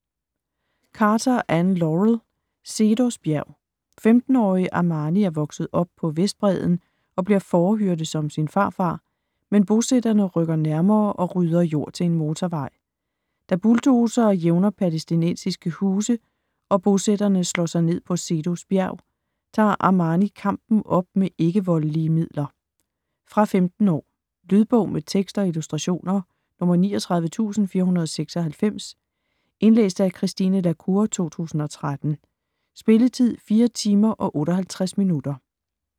Carter, Anne Laurel: Seedos bjerg 15-årige Amani er vokset op på Vestbredden, og bliver fårehyrde som sin farfar, men bosætterne rykker nærmere og rydder jord til en motorvej. Da bulldozere jævner palæstinensiske huse, og bosætterne slår sig ned på Seedos bjerg, tager Amani kampen op med ikke-voldelige midler. Fra 15 år. Lydbog med tekst og illustrationer 39496 Indlæst af Christine la Cour, 2013. Spilletid: 4 timer, 58 minutter.